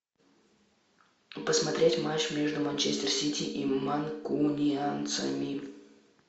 посмотреть матч между манчестер сити и манкунианцами